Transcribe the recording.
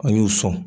An y'u sɔn